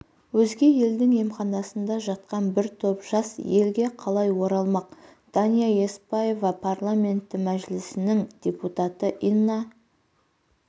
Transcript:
өзге елдің емханасында жатқан бір топ жас елге қалай оралмақ дания еспаева парламенті мәжілісінің депутаты инна